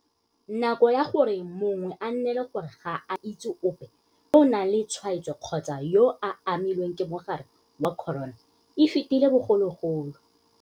Nako ya gore mongwe a nnele gore ga a itse ope yo o nang le tshwaetso kgotsa yo a amilweng ke mogare wa corona e fetile bogologolo.